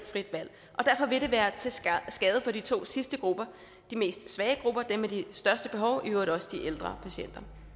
frit valg derfor vil det være til skade for de to sidste grupper de mest svage grupper dem med de største behov og i øvrigt også de ældre patienter